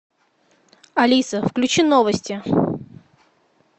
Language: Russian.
алиса включи новости